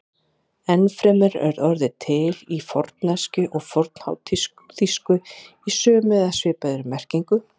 Enn fremur er orðið til í fornensku og fornháþýsku í sömu eða svipaðri merkingu.